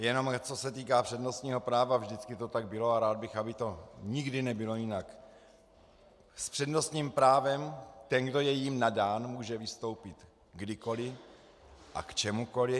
Jenom co se týká přednostního práva, vždycky to tak bylo a rád bych, aby to nikdy nebylo jinak - s přednostním právem ten, kdo je jím nadán, může vystoupit kdykoli a k čemukoli.